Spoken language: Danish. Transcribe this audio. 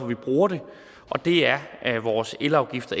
vi bruger det og det er vores elafgift og